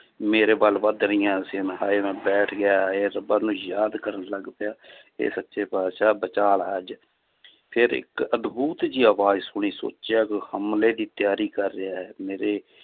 ਮੇਰੇ ਵੱਲ ਵੱਧ ਰਹੀਆਂ ਸੀ ਮੈਂ ਹਾਏ ਮੈਂ ਬੈਠ ਗਿਆ ਹਾਏ ਰੱਬਾ ਨੂੰ ਯਾਦ ਕਰਨ ਲੱਗ ਪਿਆ ਹੇ ਸੱਚੇ ਪਾਤਿਸ਼ਾਹ ਬਚਾ ਲੈ ਅੱਜ ਫਿਰ ਇੱਕ ਅਦਬੁਤ ਜਿਹੀ ਆਵਾਜ਼ ਸੁਣੀ ਸੋਚਿਆ ਹਮਲੇ ਦੀ ਤਿਆਰੀ ਕਰ ਰਿਹਾ ਹੈ ਮੇਰੇ